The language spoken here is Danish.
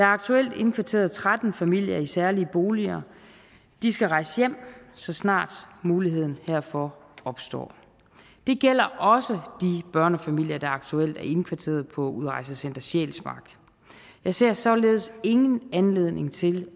aktuelt indkvarteret tretten familier i særlige boliger de skal rejse hjem så snart muligheden herfor opstår det gælder også de børnefamilier der aktuelt er indkvarteret på udrejsecenter sjælsmark jeg ser således ingen anledning til